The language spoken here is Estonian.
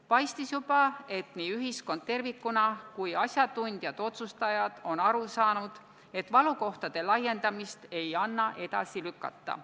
Paistis juba, et nii ühiskond tervikuna kui ka asjatundjad ja otsustajad on aru saanud, et valukohtade lahendamist ei anna edasi lükata.